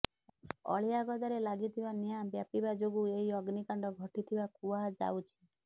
ଅଳିଆଗଦାରେ ଲାଗିଥିବା ନିଆଁ ବ୍ୟାପିବା ଯୋଗୁ ଏହି ଅଗ୍ନିକାଣ୍ଡ ଘଟିଥିବା କୁହାଯାଉଛି